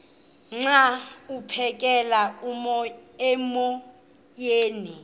xa aphekela emoyeni